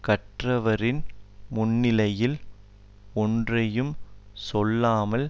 கற்றவரின் முன்னிலையில் ஒன்றையும் சொல்லாமல்